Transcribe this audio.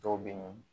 Dɔw bɛ ye